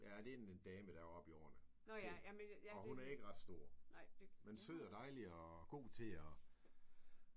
Ja det en en dame der er oppe i årene og hun er ikke ret stor men sød og dejlig og god til at